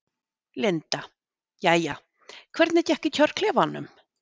Linda: Jæja, hvernig gekk í kjörklefanum?